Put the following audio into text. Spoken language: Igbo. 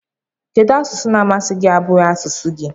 Kedu asụsụ na amasi gi na abughi asụsụ gi?